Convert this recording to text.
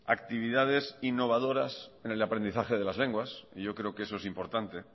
actividades innovadoras en el aprendizaje de las lenguas yo creo que eso es importante